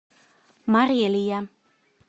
морелия